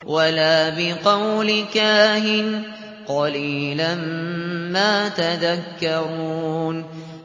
وَلَا بِقَوْلِ كَاهِنٍ ۚ قَلِيلًا مَّا تَذَكَّرُونَ